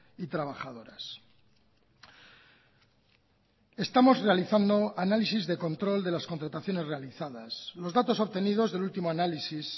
y trabajadoras estamos realizando análisis de control de las contrataciones realizadas los datos obtenidos del último análisis